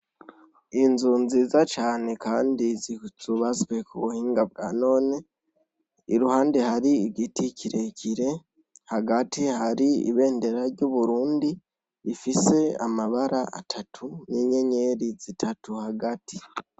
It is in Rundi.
Inzu nziza cane, kandi zitsubazwe ku buhinga bwa none iruhande hari igiti kirekire hagati hari ibendera ry'uburundi ifise amabara atatu n'inyenyeri zitatu hagati.